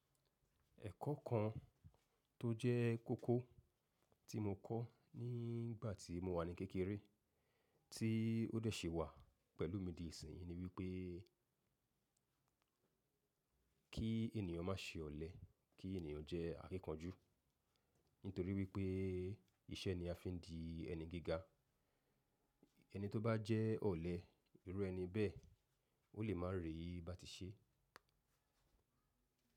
Ẹ̀kọ́ kan tó jẹ́ kókó tí mo kọ́ nígbà tí mo wà ní kékeré, tí ó dẹ̀ ṣi wà pẹ̀lú mi di ìsìn yii ni wípé kí ènìyàn má ṣe ọ̀lẹ, kí ènìyàn jẹ́ akíkanjú. Nítorí wípé iṣẹ́ ni a fi ń di ẹni gíga. Ẹni tó bá jẹ́ ọ̀lẹ, irú ẹni bẹ́ẹ̀, ó lè máa rì bà tí ṣe.